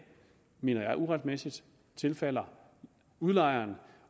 uretmæssigt tilfalder udlejeren